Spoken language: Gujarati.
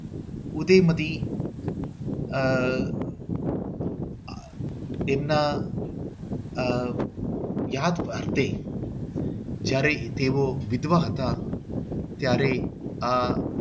ઉદયમતી આહ આ એમના આહ યાદ માટે જયારે તેઓ વિદ્વાનો હતા ત્યારે આ